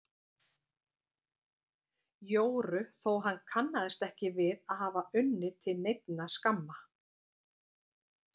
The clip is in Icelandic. Jóru þó hann kannaðist ekki við að hafa unnið til neinna skamma.